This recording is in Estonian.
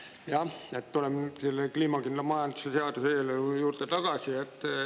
Jah, ma tulen selle kliimakindla majanduse seaduse eelnõu juurde tagasi.